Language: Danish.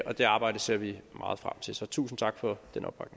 det arbejde ser vi meget frem til tusind tak for